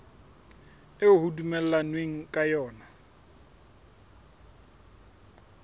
eo ho dumellanweng ka yona